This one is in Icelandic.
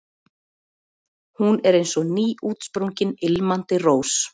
Hún er eins og nýútsprungin, ilmandi rós.